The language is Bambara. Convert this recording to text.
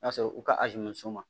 N'a sɔrɔ u ka ma